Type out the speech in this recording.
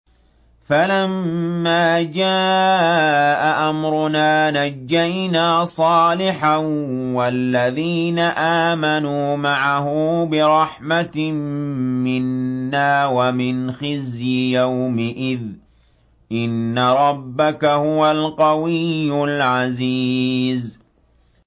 فَلَمَّا جَاءَ أَمْرُنَا نَجَّيْنَا صَالِحًا وَالَّذِينَ آمَنُوا مَعَهُ بِرَحْمَةٍ مِّنَّا وَمِنْ خِزْيِ يَوْمِئِذٍ ۗ إِنَّ رَبَّكَ هُوَ الْقَوِيُّ الْعَزِيزُ